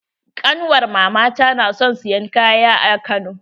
Ƙanwar mama ta na son siyan kaya a Kano.